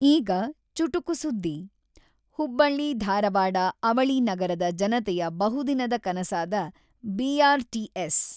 ಈಗ ಚುಟುಕು ಸುದ್ದಿ "ಹುಬ್ಬಳ್ಳಿ-ಧಾರವಾಡ ಅವಳಿ ನಗರದ ಜನತೆಯ ಬಹುದಿನದ ಕನಸಾದ ಬಿ.ಆರ್‌.ಟಿ.ಎಸ್.